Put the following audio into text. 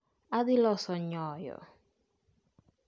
Adhi loso nyoyo